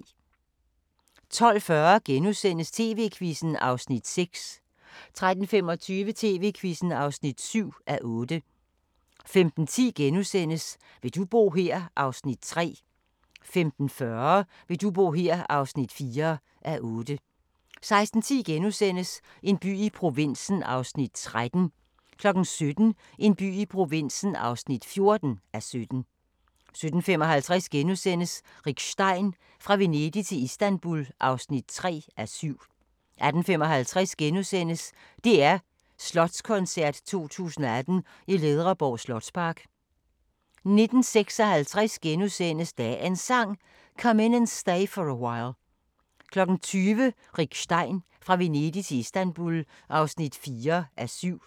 12:40: TV-Quizzen (6:8)* 13:25: TV-Quizzen (7:8) 15:10: Vil du bo her? (3:8)* 15:40: Vil du bo her? (4:8) 16:10: En by i provinsen (13:17)* 17:00: En by i provinsen (14:17) 17:55: Rick Stein: Fra Venedig til Istanbul (3:7)* 18:55: DR Slotskoncert 2018 i Ledreborg Slotspark * 19:56: Dagens Sang: Come In And Stay For A While * 20:00: Rick Stein: Fra Venedig til Istanbul (4:7)